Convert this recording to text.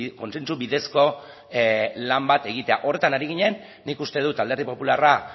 kontsentsu bidezko lan bat egitea horretan ari ginen nik uste dut alderdi popularra